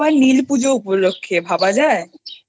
তাও আবার নীল পুজো উপলক্ষ্যে ভাবা যায়